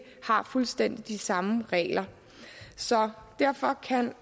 har fuldstændig de samme regler så derfor kan